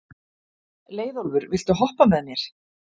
Leiðólfur, viltu hoppa með mér?